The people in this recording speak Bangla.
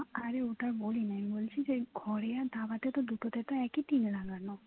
আরে ওটা বলিনি আমি বলছি যে ঘরে আর ধাবাটাতে দুটটাতে একই টিনর লাগানো